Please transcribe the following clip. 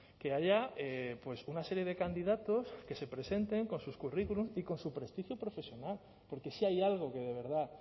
que haya una serie de candidatos que se presenten con sus currículum y con su prestigio profesional porque si hay algo que de verdad